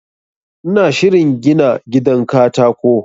ina shirin gina gidan katako